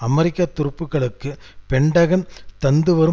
அமெரிக்க துருப்புக்களுக்கு பென்டகன் தந்துவரும்